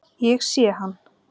Ég sé hann.